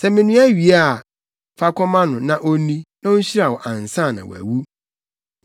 Sɛ menoa wie a, fa kɔma no, na onni, na onhyira wo ansa na wawu.”